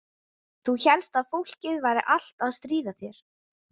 Þú hélst að fólkið væri allt að stríða þér.